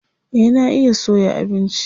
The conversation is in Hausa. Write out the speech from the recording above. Eh na iya soya abinci.